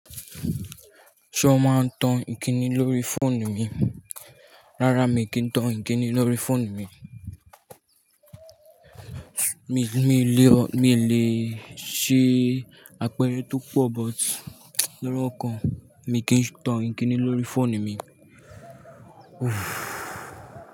Ṣé o máa tan ìkíni lórí fóònù mi? Rárá mi kì í tan ìkíni lórí fóònù mi. Mi, mi le, mi le ṣe àpérẹ́ tó pọ̀ gan but lóro kan mi kì í tan ìkíni lórí fóònù mi. Uff.